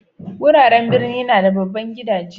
Wuraren birni na da babban gidaje.